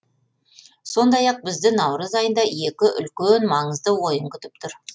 сондай ақ бізді наурыз айында екі үлкен маңызды ойын күтіп түр